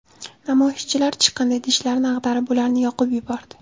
Namoyishchilar chiqindi idishlarini ag‘darib, ularni yoqib yubordi.